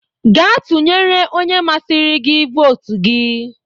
Gaa tụnyere onye masiri gi votu gi!